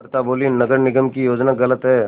अमृता बोलीं नगर निगम की योजना गलत है